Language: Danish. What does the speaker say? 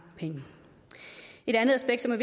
penge et andet aspekt som er